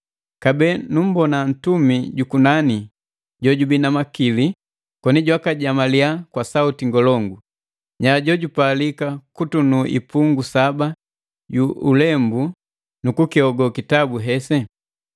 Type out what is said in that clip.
Kabee numbona ntumi jukunani jojubii na makili koni jwakajamaliya kwa sauti ngolongu: “Nya jo jupalika kutunu ipungi saba yu ulembu nu kukihogo kitabu hesi?”